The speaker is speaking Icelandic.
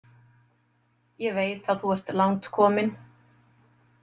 Ég veit að þú ert langt komin.